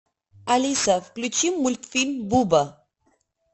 алиса включи мультфильм буба